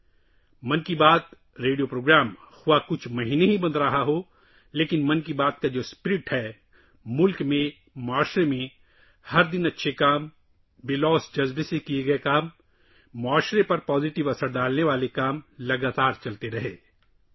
‘من کی بات’ ریڈیو کا پروگرام بھلے ہی چند مہینوں سے بند ہوا ہو، لیکن ‘من کی بات’ کا جذبہ ہر روز ملک اور معاشرے میں اچھے کاموں کو پھیلا رہا ہے، بے لوث جذبے سے کیے گئے کام، جس کے مثبت اثرات معاشرے میں مرتب ہو رہے ہیں اسےمسلسل جاری رکھیں